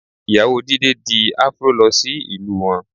Ìyàwó Jídé di Afro lọ sí ìlú wọn